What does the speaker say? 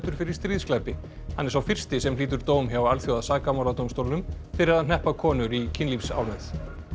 fyrir stríðsglæpi hann er sá fyrsti sem hlýtur dóm hjá Alþjóðasakamáladómstólnum fyrir að hneppa konur í kynlífsánauð